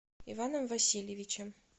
иваном васильевичем